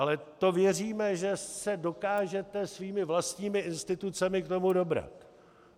Ale to věříme, že se dokážete svými vlastními institucemi k tomu dobrat.